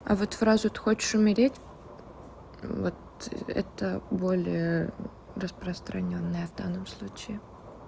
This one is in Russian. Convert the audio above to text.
а вот фразу ты хочешь умереть вот это более распространённая данном случае